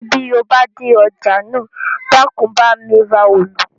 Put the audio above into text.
Bí o bá dé ọjà náà, Dákun bá mi ra òòlù